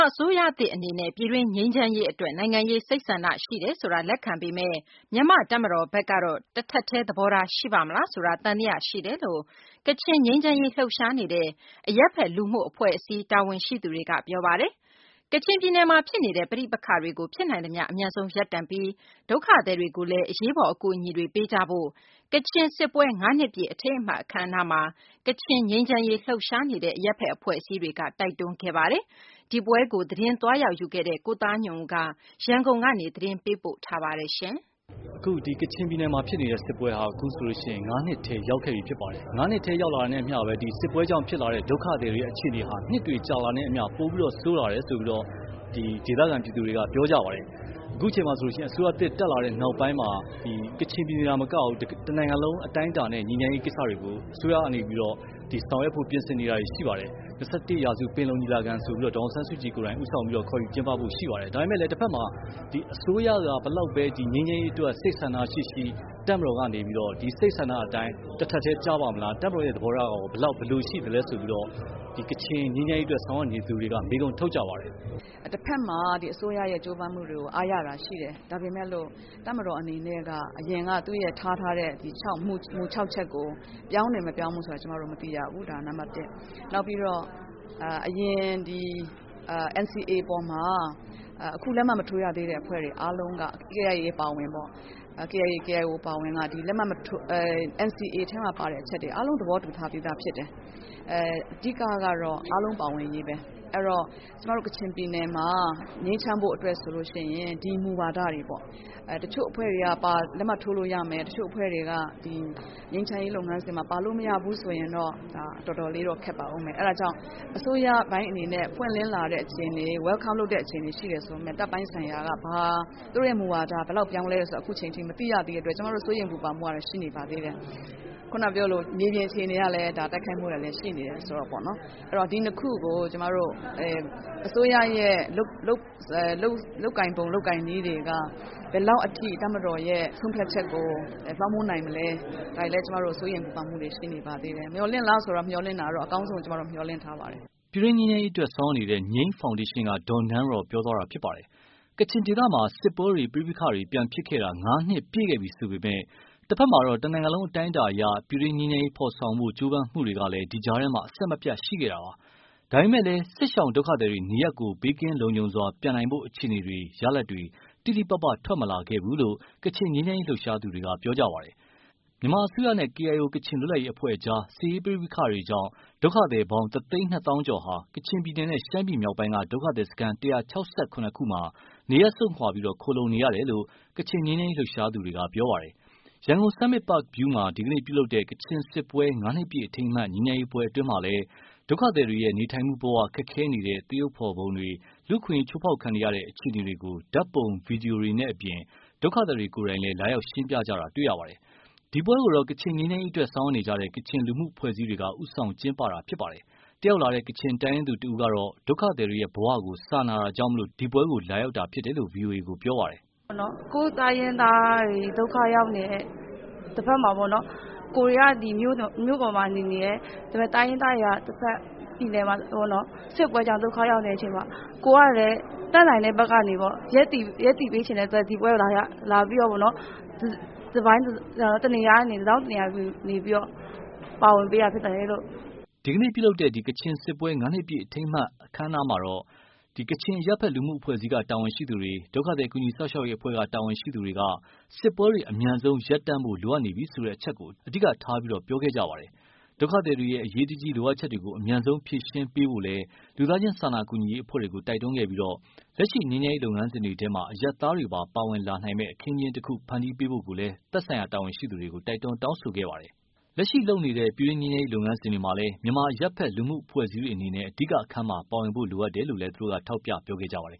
အစိုးရသစ်အနေနဲ့ ပြည်တွင်းငြိမ်းချမ်းရေးအတွက် နိုင်ငံရေးစိတ်ဆန္ဒရှိတယ်ဆိုတာ လက်ခံပေမယ့်၊ မြန်မာ့တပ်မတော်ဘက်ကတော့ တထပ်တည်း သဘောထားရှိပါ့မလားဆိုတာ သံသယရှိတယ်လို့ ကချင်ငြိမ်းချမ်းရေးလှုပ်ရှားနေတဲ့ အရပ်ဖက်လူမှုအဖွဲ့အစည်းတာဝန်ရှိသူတွေက ပြောပါတယ်။ ကချင်ပြည်နယ်မှာဖြစ်နေတဲ့ ပဋိပက္ခတွေကို ဖြစ်နိုင်သမျှအမြန်ဆုံးရပ်တန့်ပြီး၊ ဒုက္ခသည်တွေကိုလည်း အရေးပေါ်အကူအညီတွေ ပေးကြဖို့ ကချင်စစ်ပွဲ ငါးနှစ်ပြည့်အထိမ်းအမှတ်အခမ်းအနားမှာ ကချင်ငြိမ်းချမ်းရေးလှုပ်ရှားနေတဲ့ အရပ်ဖက်အဖွဲ့အစည်းတွေက တိုက်တွန်းခဲ့ပါတယ်။ ဒီပွဲကို သတင်းသွားရောက်ယူခဲ့တဲ့ ကိုသားညွန့်ဦးက ရန်ကုန်ကနေ သတင်းပေးပို့ထားတာပါ။ ကချင်ပြည်နယ်မှာဖြစ်နေတဲ့ စစ်ပွဲဟာ အခုဆိုရင် ၅ နှစ်ထဲရောက်ခဲ့ပြီဖြစ်ပါတယ်။ ၅ နှစ်ထဲရောက်လာတာနှင့်အမျှ ဒီစစ်ပွဲကြောင့်ဖြစ်လာတဲ့ ဒုက္ခသည်တွေရဲ့အခြေအနေဟာ နှစ်တွေကြာလာတာနှင့်အမျှ ပိုပြီးတော့ ဆိုးလာတယ်လို့ ဒေသခံပြည်သူတွေက ပြောကြပါတယ်။ အခုအချိန်မှာဆိုရင် အစိုးရသစ်တက်လာတဲ့နောက်ပိုင်း ကချင်ပြည်နယ်သာမက တနိုင်ငံလုံးအတိုင်းအတာနဲ့ ငြိမ်းချမ်းရေးလုပ်ငန်းစဉ်ကိစ္စတွေကို အစိုးရအနေနဲ့ဆောင်ရွက်ဖို့ ပြင်ဆင်နေတာတွေရှိပါတယ်။ ၂၁ ရာစု ပင်လုံညီလာခံဆိုပြီးတော့ ဒေါ်အောင်ဆန်းစုကြည်ကနေပြီး ဦးဆောင်ပြီးတော့ ခေါ်ယူကျင်းပဖို့ရှိပါတယ်။ ဒါပေမယ့် တဘက်မှာ အစိုးရက ဘယ်လောက်ပဲ ငြိမ်းချမ်းရေးအတွက် စိတ်ဆန္ဒရှိရှိ ၊ တပ်မတော်ကနေပြီးတော့ ဒီ စိတ်ဆန္ဒနဲ့ တထပ်ထဲကျပါ့မလား၊ သူတို့သဘောထားကရော ဘယ်လိုရှိမလဲဆိုပြီးတော့ ဒီကချင်ငြိမ်းချမ်းရေးအတွက်ဆောင်ရွက်နေသူတွေက မေးခွန်းထုတ်ကြပါတယ်။ “တဘက်မှာ အစိုးရရဲ့ကြိုးပမ်းမှုတွေကို အားရတာရှိတယ်။ ဒါပေမယ့်လို့ တပ်မတော်က အရင်က ချထားတဲ့ သူ့ရဲ့မူ ၆ ချက်ကို ပြောင်းတယ်မပြောင်းဘူးဆိုတာ မသိရဘူး ဒါ နံပတ် ၁ ။ နောက်ပြီးတော့ အရင် ဒီ NCA အပေါ်မှာ အခုလက်မှတ်မထိုးရသေးတဲ့အဖွဲ့တွေအားလုံးက KIA၊ KIO အပါအဝင်ပေါ့ ဒီ NCA ထဲမှာ လက်မှတ်မထိုးရသေးတဲ့ အချက်တွေအားလုံး သဘောတူထားပြီးသားဖြစ်တယ်။ အဓိကတော့ အားလုံးပါဝင်ရေးပဲ။ အဲတော့ ကျမတို့ကချင်ပြည်နယ်မှာ ငြိမ်းချမ်းဖို့ဆိုရင်တော့ ဒီမူဝါဒတွေပေါ့။ တချို့အဖွဲ့တွေက လက်မှတ်ထိုးလို့ရမယ်၊ တချို့တွေက ပါလို့မရဘူးဆိုရင် ဒါတော်တော်လေးတော့ ခက်ပါမယ်။ အဲဒါကြောင့် အစိုးရအနေနဲ့ welcome လုပ်လာတဲ့အခြေအနေရှိတယ်ဆိုပေမယ့် တပ်ပိုင်းဆိုင်ရာက သူတို့မူဝါဒ ဘယ်လောက်ထိ ပြောင်းလဲတယ်ဆိုတာ အခုအချိန်အထိ မသိရသေးတဲ့အတွက် ကျမတို့ စိုးရိမ်ပူပန်မှုတွေ ရှိနေပါသေးတယ်။ ခုနပြောသလို မြေပြင်အခြေအနေကလည်း တိုက်ခိုက်မှုတွေရှိနေတယ်ဆိုတော့ပါ့နော်။ အဲတော့ ဒီ ၂ ခုကို အစိုးရရဲ့ လုပ်ကိုင်ပုံ ၊ လုပ်ကိုင်နည်းတွေက ဘယ်လောက်အထိ တပ်မတော်ရဲ့ ဆုံးဖြတ်ချက်ကို လွှမ်းမိုးနိုင်မလဲ ၊ ဒါတွေလည်း ကျမတို့ စိုးရိမ်ပူပန်မှုတွေရှိနေပါသေးတယ်။ မျှော်လင့်လားဆိုတော့ ကျမတို့ အကောင်းဆုံးကိုတော့ မျှော်လင့်ထားပါတယ်။” ပြည်တွင်းငြိမ်းချမ်းရေးအတွက် ဆောင်ရွက်နေတဲ့ ငြိမ်းဖောင်ဒေးရှင်းက ဒေါ်နန်းရော်ပြောသွားတာပါ။ ကချင်ဒေသမှာ စစ်ပွဲတွေ ပဋိပက္ခတွေ ပြန်ဖြစ်ခဲ့တာ ငါးနှစ်ပြည့်ခဲ့ပြီဆိုပေမယ့်၊ တဘက်မှာတော့ တနိုင်ငံလုံးအတိုင်းအတာအရ ပြည်တွင်းငြိမ်းချမ်းရေးဖော်ဆောင်ဖို့ ကြိုးပမ်းမှုတွေက ဒီကြားထဲ အဆက်မပြတ်ရှိခဲ့တာပါ။ ဒါပေမယ့်လည်း စစ်ရှောင်းဒုက္ခသည်တွေ နေရပ်ကို ဘေးကင်းလုံခြုံစွာ ပြန်နိုင်ဖို့ အခြေအနေတွေ ရလဒ်တွေ တိတိပပ ထွက်မလာခဲ့ဘူးလို့ ကချင်ငြိမ်းချမ်းရေးလှုပ်ရှားသူတွေက ပြောပါတယ်။ မြန်မာအစိုးရနဲ့ ကေအိုင်အို ကချင်လွတ်လပ်ရေးအဖွဲအကြား စစ်ရေးပဋိပက္ခတွေကြောင်း ဒုက္ခသည်ပေါင်း တသိန်းနှစ်သောင်းကျော်ဟာ ကချင်ပြည်နယ်နဲ့ ရှမ်းပြည်မြောက်ပိုင်းက ဒုက္ခသည်စခန်း ၁၆၇ ခုမှာ နေရပ်စွန့်ခွာပြီး ခိုလှုံနေရတယ်လို့ ကချင်ငြိမ်းချမ်းရေးလှုပ်ရှားမှုအဖွဲ့တွေက ပြောပါတယ်။ ရန်ကုန် Summit Park View မှာ ဒီကနေ့ ပြုလုပ်တဲ့ ကချင်စစ်ပွဲ ငါးနှစ်ပြည့်အထိမ်းအမှတ် ငြိမ်းချမ်းရေးပွဲအတွင်းမှာလည်း ဒုက္ခသည်တွေရဲ့ နေထိုင်မှုဘ၀ ခက်ခဲနေတဲ့ သရုပ်ဖော် ပုံတွေ ၊ လူ့အခွင့်အရေးချိုးဖောက်ခံရတဲ့အခြေအနေတွေကို ဓါတ်ပုံ ဗွီဒီယိုတွေနဲ့အပြင် ဒုက္ခသည်တွေ ကိုယ်တိုင်လည်း လာရောက်ရှင်းပြတာတွေ့ရပါတယ်။ ဒီပွဲကိုတော့ ကချင်ငြိမ်းချမ်းရေးအတွက် ဆောင်ရွက်နေကြတဲ့ ကချင်လူမှုအဖွဲ့အစည်းတွေက ဦးဆောင်ကျင်းပတာပါ။ တတ်ရောက်လာတဲ့ ကချင်တိုင်းရင်းသူတဦးကတော့ ဒုကသည်တွေရဲ့ ဘဝကို စာနာတာကြောင့် ဒီပွဲကို လာရောက်တာဖြစ်တယ်လို့ ဗွီအိုအေကို ပြောပါတယ်။ “ကိုယ့်တိုင်းရင်းသားတွေက ဒုက္ခရောက်နေတယ် တဘက်မှာ ကိုယ်တွေက မြို့ပေါ်နေနေတယ်။ ဒါပေမယ့် တိုင်းရင်းသားတွေက တဘက် ပြည်နယ်မှာ စစ်ပွဲတွေကြောင့် ဒုက္ခရောက်နေတဲ့အချိန်မှာ ကိုယ်တွေက တက်နိုင်တဲ့ဘက်ကနေပြီးတော့ ရပ်တည်ပေးချင်တဲ့အတွက် ဒီပွဲကို လာပြီးတော့ တထောင့်တနေရာကနေ ပါဝင်ပေးတာဖြစ်ပါတယ်။” ဒီကနေ့ပြုလုပ်သွားတဲ့ ကချင်စစ်ပွဲ ငါးနှစ်ပြည့်အထိမ်းအမှတ်ပွဲမှာတော့ ကချင်အရပ်ဖက်လူမှုအဖွဲ့အစည်းက တာဝန်ရှိသူတွေ၊ ဒုက္ခသည်ကူညီစောင့်ရှောက်ရေးအဖွဲ့က တာဝန်ရှိသူတွေက စစ်ပွဲတွေ အမြန်ဆုံးရပ်တန့်ဖို့ လိုအပ်နေပြီဆိုတဲ့အချက်ကို အဓိက ပြောကြားခဲ့ပါတယ်။ ဒုက္ခသည်တွေရဲ့ အရေးတကြီးလိုအပ်ချက်တွေကို အမြန်ဆုံးဖြည့်ဆည်းပေးကြဖို့လည်း လူသားချင်းစာနာကူညီရေးအဖွဲ့တွေကို တိုက်တွန်းခဲ့ပြီး၊ လက်ရှိ ငြိမ်းချမ်းရေးလုပ်ငန်းစဉ်တွေထဲမှာ အရပ်သားတွေပါ ပါဝင်နိုင်မယ့် အခင်းအကျင်းတခု ဖန်တီးပေးဖို့လည်း သက်ဆိုင်ရာတာဝန်ရှိသူတွေကို တိုက်တွန်းတောင်းဆိုခဲ့ပါတယ်။ လက်ရှိ လုပ်နေတဲ့ ပြည်တွင်းငြိမ်းချမ်းရေးလုပ်ငန်းစဉ်တွေမှာလည်း မြန်မာအရပ်ဖက်လူမှုအဖွဲ့အစည်းတွေအနေနဲ့ အဓိက အခန်းမှာ ပါဝင်ဖို့လိုအပ်တယ်လို့လည်း ထောက်ပြခဲ့ကြပါတယ်